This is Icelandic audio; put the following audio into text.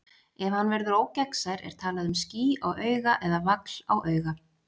Ef hann verður ógegnsær er talað um ský á auga eða vagl á auga.